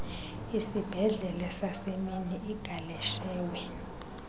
isibhedlele sasemini igaleshewe